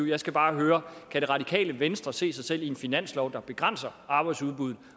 jeg skal bare høre kan det radikale venstre se sig selv i en finanslov der begrænser arbejdsudbuddet